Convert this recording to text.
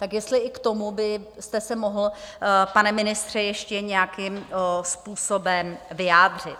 Tak jestli i k tomu byste se mohl, pane ministře, ještě nějakým způsobem vyjádřit.